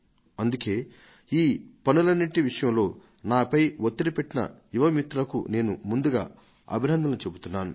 అందుకే ఈ పనులన్నింటి విషయంలో నాపై ఒత్తిడి తెచ్చిన యువ మిత్రులకు నేను ముందుగా అభినందనలు చెబుతాను